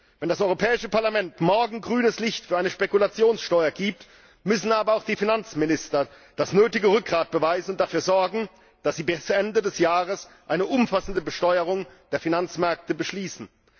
Wenn das Europäische Parlament morgen grünes Licht für eine Spekulationssteuer gibt, müssen aber auch die Finanzminister das nötige Rückgrat beweisen und dafür sorgen, dass sie bis Ende des Jahres eine umfassende Besteuerung der Finanzmärkte beschließen.